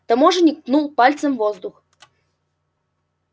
таможенник ткнул пальцем в воздух